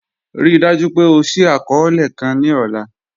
Ríì dájú pé ọ ṣìí akọọlẹ̀ kàn ni ọ̀là